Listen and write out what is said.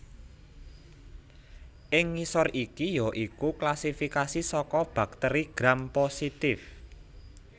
Ing ngisor iki ya iku klasifikasi saka bakteri Gram positif